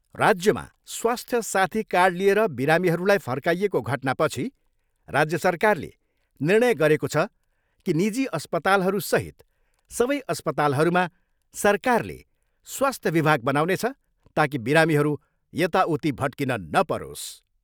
राज्यमा स्वास्थ्य साथी कार्ड लिएर बिरामीहरूलाई फर्काइएको घटनापछि राज्य सरकारले निर्णय गरेको छ कि निजी अस्पतालहरूसहित सबै अस्पतालहरूमा सरकारले स्वास्थ विभाग बनाउनेछ ताकि बिरामीहरू यताउति भट्किन नपरोस्।